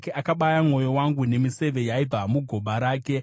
Akabaya mwoyo wangu nemiseve yaibva mugoba rake.